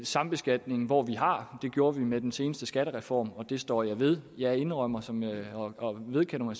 sambeskatningen hvor vi har det gjorde vi med den seneste skattereform og det står jeg ved jeg indrømmer og vedkender